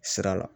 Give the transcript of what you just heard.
Sira la